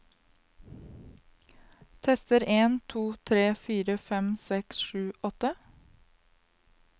Tester en to tre fire fem seks sju åtte